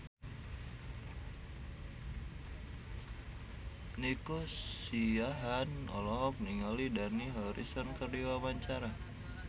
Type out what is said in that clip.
Nico Siahaan olohok ningali Dani Harrison keur diwawancara